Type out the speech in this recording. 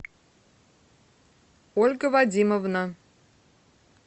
ольга вадимовна